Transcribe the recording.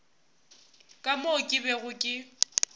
ka moo ke bego ke